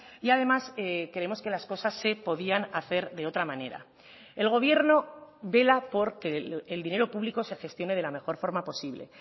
y además creemos que las cosas se podían hacer de otra manera el gobierno vela porque el dinero público se gestione de la mejor forma posible